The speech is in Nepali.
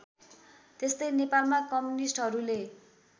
त्यस्तै नेपालमा कम्युनिस्टहरूले